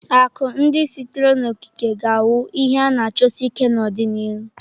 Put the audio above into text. Akụ ndị sitere n'okike ga-awu ihe a na achọsi ike n'ọdịnihu.